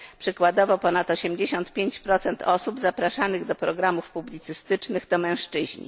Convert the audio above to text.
Przykładowo ponad 85 osób zapraszanych do programów publicystycznych to mężczyźni.